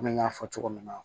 Komi n y'a fɔ cogo min na